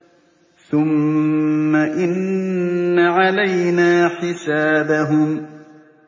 ثُمَّ إِنَّ عَلَيْنَا حِسَابَهُم